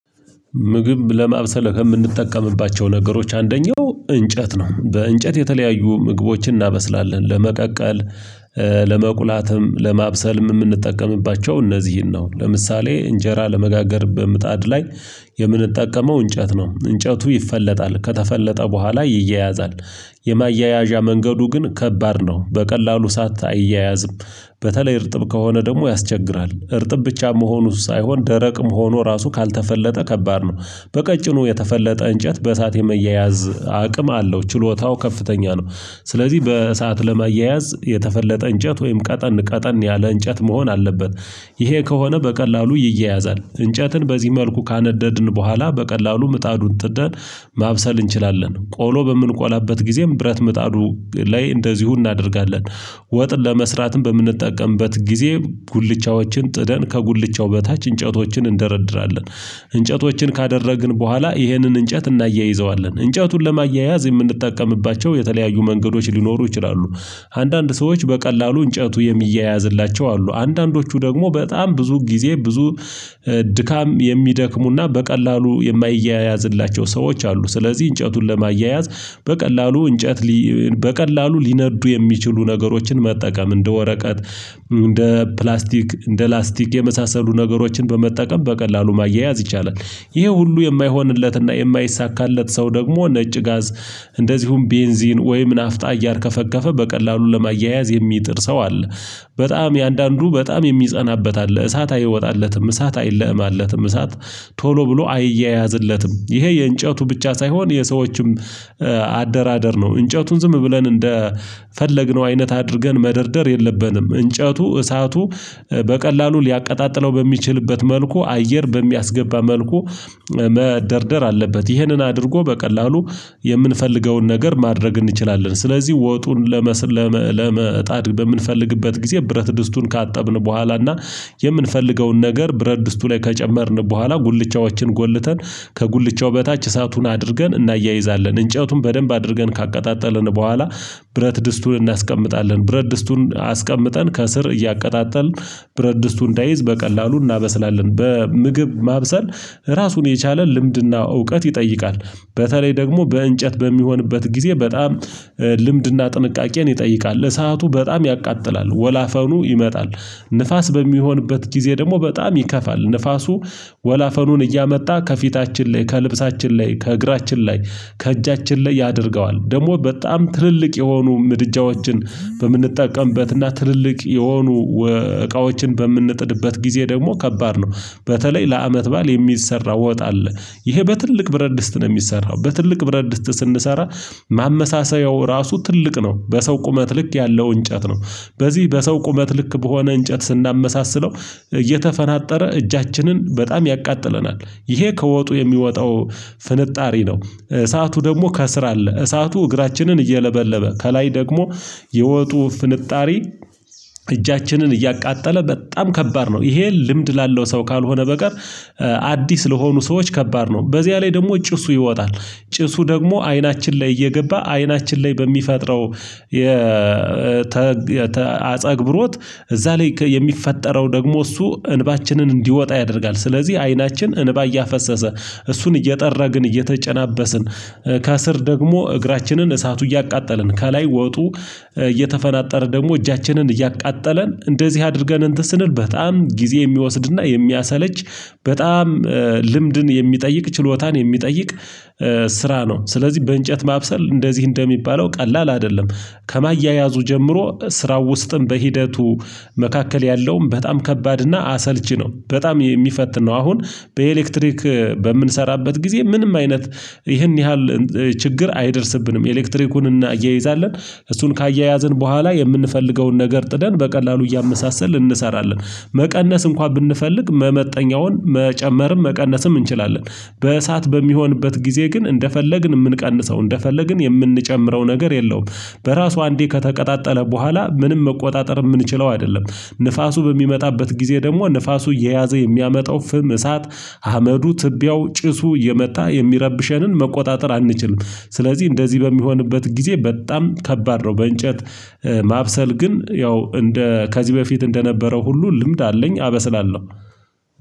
ምግብ ለማብሰለ የምንጠቀምባቸው ነገሮች አንደኛው እንጨት ነው በእንጨት የተለያዩ ምግቦችን እናበስላለን። ለመቀቀል ለመቁላትም ለማብሰልም የምንጠቀምባቸው እነዚህን ነው። ለምሳሌ እንጀራ ለመጋገር በምጣድ ላይ የምንጠቀመው እንጨት ነው። እንጨቱ ይፈለጣል ከተፈለጠ በኋላ ይያያዛል የማያያዣ መንገዱ ግን ከባድ ነው በቀላሉ እሳት አይያያዝም። በተለይ እርጥብ ከሆነ ደግሞ ያስቸግራል። እርጥብ ብቻ መሆኑ ሳይሆን ደረቅም ሆኖ ራሱ ካልተፈለጠ ከባድ ነው። በቀጭኑ የተፈለጠ እንጨት በእሳት የመያያዝ አቅም አለው ችሎታው ከፍተኛ ነው። ስለዚህ በእሳት ለመያያዝ የተፈለጠ እንጨት ወይም ቀጠን ቀጠን ያለ እንጨት መሆን አለበት። ይሄ ከሆነ በቀላሉ ይያያዛል እንጨትን በዚህ መልኩ ካነደድን በኋላ በቀላሉ ምጣዱን ጥደን ማብሰል እንችላለን። ቆሎ በምንቆላበት ጊዜም ብረት ምጣዱ ላይ እንደዚሁ እናደርጋለን። ወጥ ለመስራትም በምንጠቀምበት ጊዜ ጉልቻዎችን ጥደን ከጉልቻው በታች እንጨቶችን እንደረድራለን። እንጨቶችን ካደረግን በኋላ ይህንን እንጨት እናያይዘዋለን እንጨቱን ለማያያዝ የምንጠቀምባቸው የተለያዩ መንገዶች ሊኖሩ ይችላሉ። አንዳንድ ሰዎች በቀላሉ እንጨቱ የሚያያዝላቸው አሉ አንዳንዶቹ ደግሞ በጣም ብዙ ጊዜ ብዙ ድካም የሚደክሙና በቀላሉ የማይያያዝላቸው ሰዎች አሉ። ስለዚህ እንጨቱን ለማያያዝ በቀላሉ እንጨት በቀላሉ ሊነዱ የሚችሉ ነገሮችን መጠቀም እንደ ወረቀት እንደ ፕላስቲክ እንደ ላስቲክ የመሳሰሉ ነገሮችን በመጠቀም በቀላሉ ማያያዝ ይቻላል። ይሄ ሁሉ የማይሆንለትና የማይሳካለት ሰው ደግሞ ነጭ ጋዝ እንደዚሁም ቤንዚን ወይም ናፍጣ እያርከፈከፈ በቀላሉ ለማያያዝ የሚጥር ሰው አለ። በጣም የአንዳንዱ በጣም የሚጸናበት አለ እሳት አይወጣለትም እሳት አይለማለትም እሳት ቶሎ ብሎ አይያያዝለትም። ይሄ የእንጨቱ ብቻ ሳይሆን የሰዎችም አደራደር ነው። እንጨቱን ዝም ብለን እንደፈለግነው አይነት አድርገን መደርደር የለብንም። እንጨቱ እሳቱ በቀላሉ ሊያቀጣጥለው በሚችልበት መልኩ አየር በሚያስገባ መልኩ መደርደር አለበት። ይህንን አድርጎ በቀላሉ የምንፈልገውን ነገር ማድረግ እንችላለን። ስለዚህ ወጡን ለመጣድ በምንፈልግበት ጊዜ ብረት ድስቱን ካጠብን በኋላ እና የምንፈልገውን ነገር ብረት ድስቱ ላይ ከጨመርን በኋላ ጉልቻዎችን ጎልተን ከጉልቻው በታች እሳቱን አድርገን እናያይዛለን። እንጨቱን በደንብ አድርገን ካቀጣጠልን በኋላ ብረት ድስቱን እናስቀምጣለን ብረት ድስቱን አስቀምጠን ከስር እያቀጣጠልን ብረት ድስቱ እንዳይዝ በቀላሉ እናበስላለን። በምግብ ማብሰል ራሱን የቻለ ልምድና እውቀት ይጠይቃል። በተለይ ደግሞ በእንጨት በሚሆንበት ጊዜ በጣም ልምድና ጥንቃቄን ይጠይቃል ለሰአቱ በጣም ያቃጥላል ወላፈኑ ይመጣል። ንፋስ በሚሆንበት ጊዜ ደግሞ በጣም ይከፋል። ንፋሱ ወላፈኑን እያመጣ ከፊታችን ላይ ከልብሳችን ላይ ከእግራችን ላይ ከእጃችን ላይ ያደርገዋል። ደግሞ በጣም ትልልቅ የሆኑ ምድጃዎችን በምንጠቀምበትና ትልልቅ የሆኑ እቃዎችን በምንጥድበት ጊዜ ደግሞ ከባድ ነው። በተለይ ለአመት በዓል የሚሰራ ወጥ አለ። ይሄ በትልቅ ብረድስት ነው የሚሰራው በትልቅ ብረድስት ስንሰራ ማመሳሰያው ራሱ ትልቅ ነው በሰው ቁመት ልክ ያለው እንጨት ነው። በዚህ በሰው ቁመት ልክ በሆነ እንጨት ስናመሳስለው እየተፈናጠረ እጃችንን በጣም ያቃጥለናል። ይሄ ከወጡ የሚወጣው ፍንጣሪ ነው። እሳቱ ደግሞ ከስር አለ እሳቱ እግራችንን እየለበለበ ከላይ ደግሞ የወጡ ፍንጣሪ እጃችንን እያቃጠለ በጣም ከባድ ነው። ይሄ ልምድ ላለው ሰው ካልሆነ በቀር አዲስ ለሆኑ ሰዎች ከባድ ነው። በዚያ ላይ ደግሞ ጭሱ ይወጣል። ጭሱ ደግሞ አይናችን ላይ እየገባ አይናችን ላይ በሚፈጥረው የአጸግብሮት እዛ ላይ የሚፈጠረው ደግሞ እሱ እንባችንን እንዲወጣ ያደርጋል። ስለዚህ አይናችን እንባ እያፈሰሰ እሱን እየጠረግን እየተጨናበስን ከስር ደግሞ እግራችንን እሳቱ እያቃጠለን ከላይ ወጡ እየተፈናጠረ ደግሞ እጃችንን እያቃጠለን እንደዚህ አድርገን እንትን ስንል በጣም ጊዜ የሚወስድና የሚያሰለች። በጣም ልምድን የሚጠይቅ ችሎታን የሚጠይቅ ስራ ነው። ስለዚህ በእንጨት ማብሰል እንደዚህ እንደሚባለው ቀላል አይደለም። ከማያያዙ ጀምሮ ስራው ውስጥም በሂደቱ መካከል ያለውም በጣም ከባድና አሰልቺ ነው። በጣም ነው አሁን በኤሌክትሪክ በምንሰራበት ጊዜ ምንም አይነት ይህን ያህል ችግር አይደርስብንም ኤሌክትሪኩን እናያይዛለን። እሱን ካያያዝን በኋላ የምንፈልገውን ነገር ጥደን በቀላሉ እያመሳሰልን እንሰራለን። መቀነስ እንኳን ብንፈልግ መመጠኛውን መጨመርም መቀነስም እንችላለን። በእሳት በሚሆንበት ጊዜ ግን እንደፈለግን የምንቀንሰው እንደፈለግን የምንጨምረው ነገር የለውም። በራሱ አንዴ ከተቀጣጠለ በኋላ ምንም መቆጣጠር የምንችለው አይደለም። ንፋሱ በሚመጣበት ጊዜ ደግሞ ንፋሱ እየያዘ የሚያመጣው ፍም እሳት አመዱ ትቢያው ጭሱ ኢየመጣ የሚረብሸንን መቆጣጠር አንችልም። ስለዚህ እንደዚህ በሚሆንበት ጊዜ በጣም ከባድ ነው። በእንጨት ማብሰል ግን ያው እንደ ከዚህ በፊት እንደነበረው ሁሉ ልምድ አለኝ አበስላለሁ